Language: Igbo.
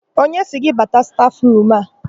Onye sịrị gị bata stafụrumu a?